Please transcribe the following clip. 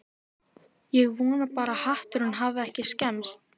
Ég vona bara að hatturinn hafi ekki skemmst